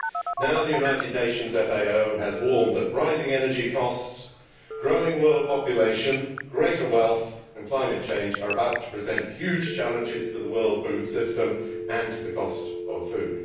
Now, the United Nations FAO has warned that rising energy costs, growing world population, greater wealth and climate change are about to present huge challenges to the world food system and to the cost of food.